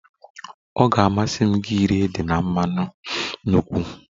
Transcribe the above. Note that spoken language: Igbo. Ọ ga-amasị gị iri ede na mmanụ nkwụ?